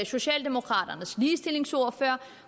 socialdemokraternes ligestillingsordfører